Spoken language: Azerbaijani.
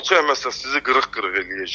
Qol çəkməsən, sizi qırıq-qırıq eləyəcəyik.